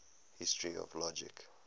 history of logic